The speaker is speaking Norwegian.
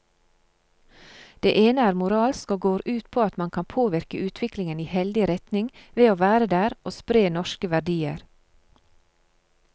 Det ene er moralsk og går ut på at man kan påvirke utviklingen i heldig retning ved å være der og spre norske verdier.